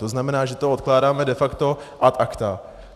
To znamená, že to odkládáme de facto ad acta.